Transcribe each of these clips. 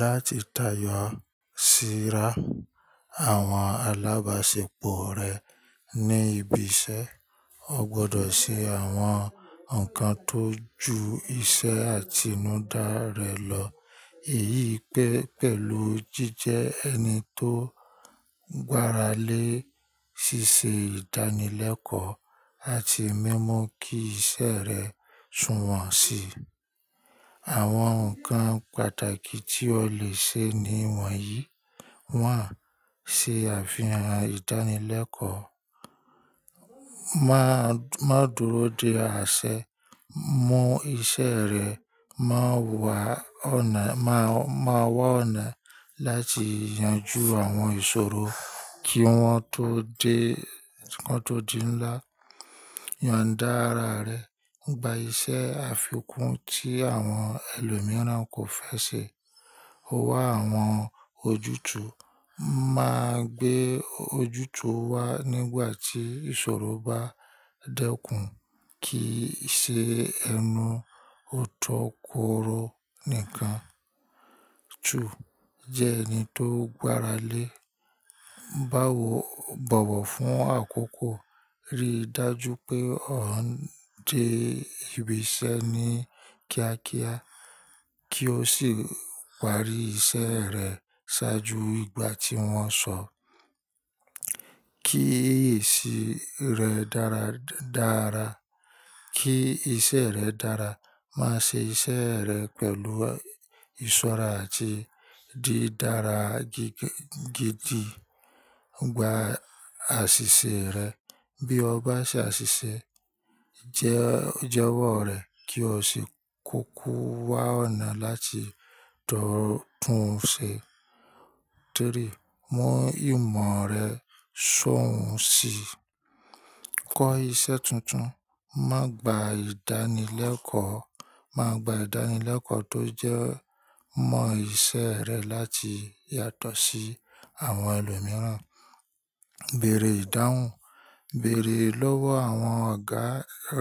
Láti táyọ̀ sí àwọn alábàṣepọ̀ rẹ ní ibi iṣẹ́, o gbọ́dọ̀ ṣe àwọn nǹkan tó ju iṣẹ́ àtinúdá rẹ lọ. Èyí pẹ́ pẹ̀lú jíjẹ ẹni tó gbára lé ṣíṣe ìdánilẹ́kọ̀ọ́ àti mimu kí iṣẹ́ rẹ sùwọ́n si. Àwọn nǹkan pàtàkì tí o lè ṣe ní wọ̀nyí (1: )ṣe àfihàn ìdánilẹ́kọ̀ọ́, má dùró de àsẹ, mú iṣẹ́ rẹ, mon wà ọ̀nà láti yanjú àwọn ìṣòro tí wọ́n tó di ńlá, yondá ara rẹ, gba iṣẹ́ àfikún tí àwọn ẹlòmíràn kò fẹ́ ṣe, wá àwọn ojútùú, má gbé ojútùú wá nígbà tí ìṣòro bá dẹ́kun kìí ṣe ẹnu ó tọ́ kóró nìkan. Jẹ ẹni tó gbára lé, báwo bọ̀wọ̀ fún àkókò, rí i dájú pé o ń dé ibi iṣẹ́ ní kíákíá kí o sì parí iṣẹ́ rẹ ṣáájú ìgbà tí wọ́n sọ. Kí èsì ara re dára dára, kí iṣẹ́ rẹ dára, má ṣe iṣẹ́ rẹ pẹ̀lú ìṣọ́ra àti dí dára gidi gba àṣìṣe rẹ. Bí o bá ṣe àṣìṣe, jẹ́wọ́ rẹ̀ kí o sì kúkú wá ọ̀nà láti tun ṣe. 3), mú ìmọ̀ rẹ sowọ́n si, kọ́ iṣẹ́ tuntun, máa gba ìdánilẹ́kọ̀ọ́ tó jẹ mọ iṣẹ́ rẹ láti yàtọ̀ sí àwọn ẹlòmíràn. Bẹ̀rẹ̀ ìdáhùn, bẹ̀rẹ̀ lọ́wọ́ àwọn ọ̀gá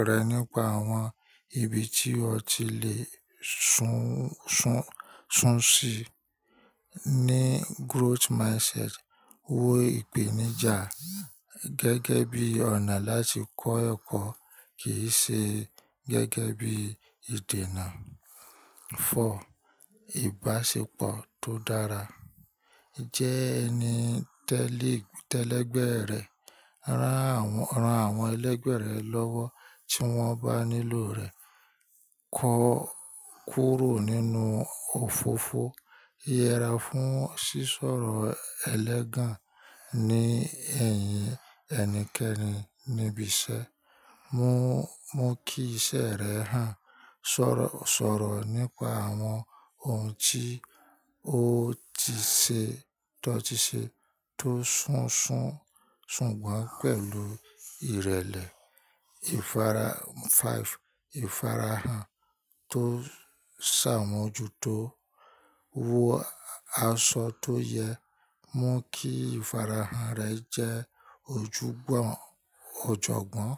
rẹ nípa àwọn ibi tí o ti le sún si. Ni growth mindset, wo ìpèníjà gẹ́gẹ́ bí ọ̀nà láti kọ́ ẹ̀kọ́ kì í ṣe gẹ́gẹ́ bí ìdènà. Ìbáṣepọ̀ tó dára, jẹ́ ẹni tẹ́lẹ̀gbẹ́ rẹ, rán àwọn ẹlẹ́gbẹ̀ẹ́ rẹ lọ́wọ́ tí wọ́n bá nílò rẹ, kọ́ kúrò nínú òfófó, yẹra fún sísọ̀rọ̀ ẹlẹ́gàn ní ẹ̀yìn ẹnikẹ́ni níbi iṣẹ́. Mú kí iṣẹ́ rẹ hàn, sọ̀rọ̀ nípa àwọn ohun tí o ti ṣe tó sùn gbọ́n pẹ̀lú ìrẹ̀lẹ̀. Ìfarahàn tó ṣàmójútó, wọ aṣọ tó yẹ, mú kí ìfarahàn rẹ jẹ́ ọ̀jọ̀gbọ́n.